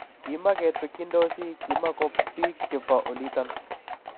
Kimakitwekyindosi inei, kimako piiik chebo oliton